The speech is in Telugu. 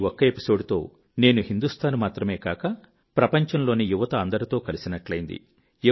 ఈ ఒక్క ఎపిసోడ్ తో నేను హిందూస్తాన్ మాత్రమే కాక ప్రపంచంలోని యువత అందరితో కలిసినట్టైంది